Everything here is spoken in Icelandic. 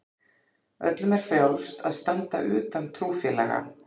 Öllum er frjálst að standa utan trúfélaga.